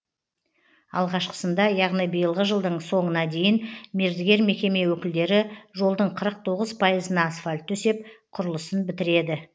алғашқысында яғни биылғы жылдың соңына дейін мердігер мекеме өкілдері жолдың қырық тоғыз пайызына асфальт төсеп құрылысын бітіреді